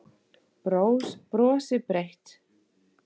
Brosir breitt.